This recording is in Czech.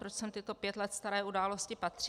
Proč sem tyto pět let staré události patří?